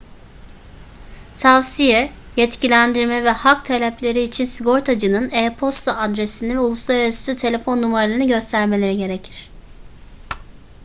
tavsiye/yetkilendirme ve hak talepleri için sigortacının e-posta adresini ve uluslararası telefon numaralarını göstermeleri gerekir